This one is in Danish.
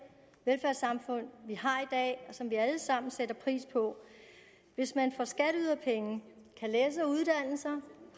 velfærdssamfund vi har i dag og som vi alle sammen sætter pris på hvis man for skatteyderpenge kan læse og uddanne sig